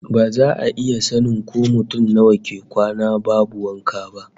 Ba za a iya sanin ko mutum nawa ke kwana babu wanka ba